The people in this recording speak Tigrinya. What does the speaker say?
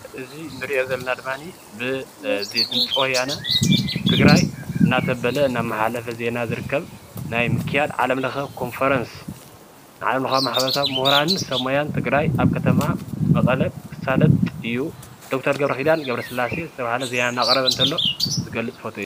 እዚ ንሪኦ ዘለና ድማኒ ብድምፂ ወያነ ትግራይ እናመሓላለፈ ዜና ዝርከብ ናይ ምክያድ ዓለም ለከ ምክያድ ኮንፈረንስ ዓለም ለከ ሙሁራን ሰብ ሞያ ትግራይ አብ ከተማ መቀለ ክሳለጥ እዩ። ዶክተር ገብረኪዳን ገብረ ስላሴ ዝተበሃለ ዜና እናቅረበ እንተሎ ዝገልፅ ፎቶ እዩ።